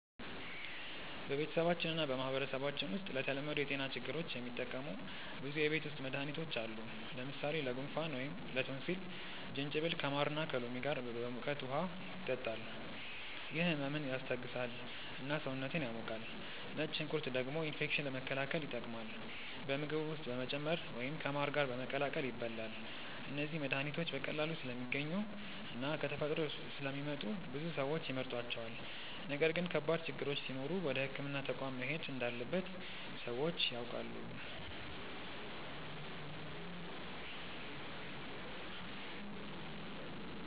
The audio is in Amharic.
በቤተሰባችን እና በማህበረሰባችን ውስጥ ለተለመዱ የጤና ችግሮች የሚጠቀሙ ብዙ የቤት ውስጥ መድሃኒቶች አሉ። ለምሳሌ ለጉንፋን ወይም ላቶንሲል ጅንጅብል ከማር እና ከሎሚ ጋር በሙቀት ውሃ ይጠጣል፤ ይህ ህመምን ያስታግሳል እና ሰውነትን ያሞቃል። ነጭ ሽንኩርት ደግሞ ኢንፌክሽን መከላከል ይጠቀማል፣ በምግብ ውስጥ በመጨመር ወይም ከማር ጋር በመቀላቀል ይበላል። እነዚህ መድሃኒቶች በቀላሉ ስለሚገኙ እና ከተፈጥሮ ስለሚመጡ ብዙ ሰዎች ይመርጧቸዋል። ነገር ግን ከባድ ችግሮች ሲኖሩ ወደ ሕክምና ተቋም መሄድ እንዳለበት ሰዎች ያውቃሉ።